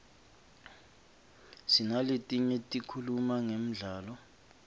sinaletinye tikhuluma ngemdlalo